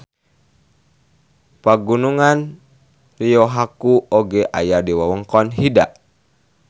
Pagunungan Ryohaku oge aya di wewengkon Hida.